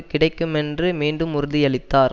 கிடைக்கும் என்று மீண்டும் உறுதியளித்தார்